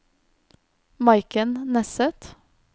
Maiken Nesset